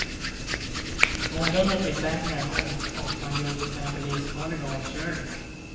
Omdömet blir sämre och man gör till exempel livsfarliga omkörningar.